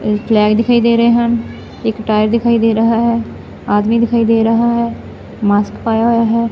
Flag ਦਿਖਾਈ ਦੇ ਰਹੇ ਹਨ ਇੱਕ ਟਾਇਰ ਦਿਖਾਈ ਦੇ ਰਹਾ ਹੈ ਆਦਮੀ ਦਿਖਾਈ ਦੇ ਰਹਾ ਹੈ ਮਾਸਕ ਪਾਇਆ ਹੋਇਆ ਹੈ।